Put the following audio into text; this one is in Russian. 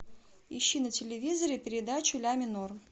ищи на телевизоре передачу ля минор